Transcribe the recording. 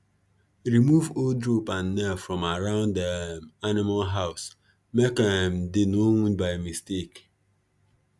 remove old rope and nail from around um animal house make um dem no wound by mistake